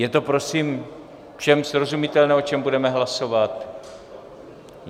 Je to prosím všem srozumitelné, o čem budeme hlasovat?